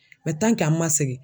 an ma segin